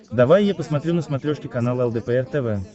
давай я посмотрю на смотрешке канал лдпр тв